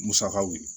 Musakaw ye